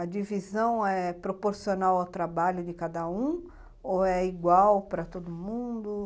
A divisão é proporcional ao trabalho de cada um ou é igual para todo mundo?